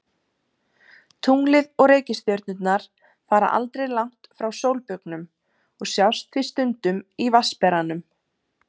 Tunglið og reikistjörnurnar fara aldrei langt frá sólbaugnum og sjást því stundum í Vatnsberanum.